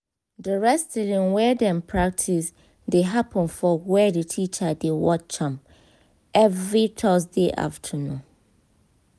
di wrestling wey dem practice dey happen for where the teacher dey watch am every thursday afternoon